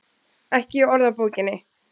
Ekki í orðabókinni.